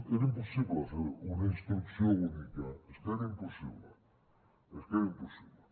era impossible fer una instrucció única és que era impossible és que era impossible